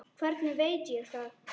Hvernig veit ég það?